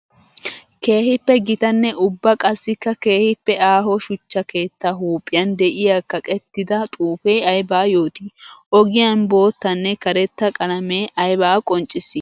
Keehippe gitanne ubba qassikka keehippe aaho shuchcha keetta huuphphiyan de'iya kaqqettidda xuufe aybba yooti? Ogiyan boottanne karetta qalamme aybba qonccissi?